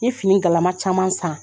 N ɲe fini galama caman san